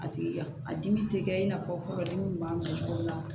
A tigi ka a dimi tɛ kɛ i n'a fɔ furadimi b'a bila cogo min na